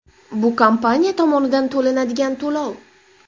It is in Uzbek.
Bu kompaniya tomonidan to‘lanadigan to‘lov.